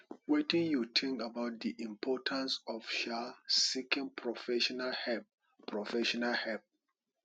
wetin you tink about di importance of um seeking professional help professional help